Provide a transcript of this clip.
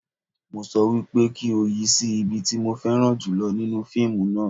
Mo sọ wípé kí o yi sí ibi tí mo fẹ́ran jùlọ nínú fíìmù náà